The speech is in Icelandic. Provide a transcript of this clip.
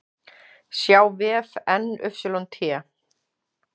sjá vef NYT